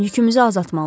Yükümüzü azaltmalıyıq.